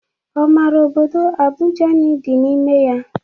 Ọ mara obodo Abijani dị n'ime ya?